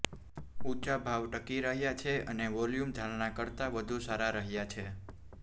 ઊંચા ભાવ ટકી રહ્યા છે અને વોલ્યુમ ધારણા કરતાં વધુ સારાં રહ્યાં છે